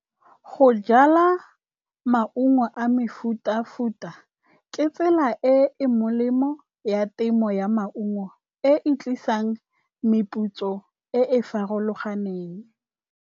Go jala maungo a mefuta-futa, ke tsela e e molemo ya temo ya maungo e e tlisang meputso e e farologaneng.